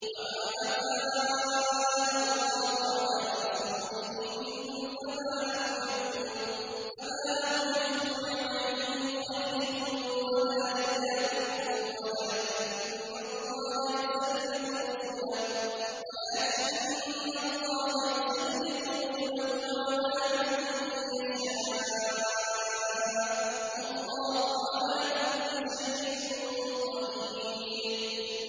وَمَا أَفَاءَ اللَّهُ عَلَىٰ رَسُولِهِ مِنْهُمْ فَمَا أَوْجَفْتُمْ عَلَيْهِ مِنْ خَيْلٍ وَلَا رِكَابٍ وَلَٰكِنَّ اللَّهَ يُسَلِّطُ رُسُلَهُ عَلَىٰ مَن يَشَاءُ ۚ وَاللَّهُ عَلَىٰ كُلِّ شَيْءٍ قَدِيرٌ